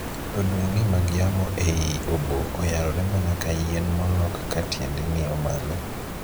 Odundni mag yamo ei oboo oyarore mana ka yien molok ka tiende ng'iyo malo.